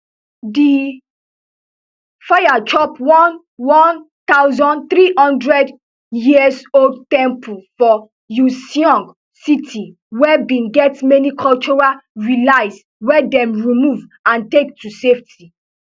di fires chop one one thousand, three hundred year old temple for uiseong city wey bin get many cultural relics wey dem remove and take to safety